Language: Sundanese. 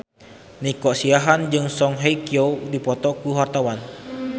Nico Siahaan jeung Song Hye Kyo keur dipoto ku wartawan